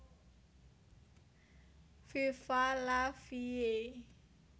Viva la vie